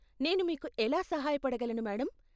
నేను మీకు ఎలా సహాయ పడగలను, మేడమ్ ?